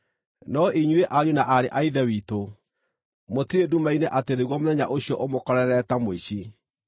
No inyuĩ ariũ na aarĩ a Ithe witũ, mũtirĩ nduma-inĩ atĩ nĩguo mũthenya ũcio ũmũkorerere ta mũici.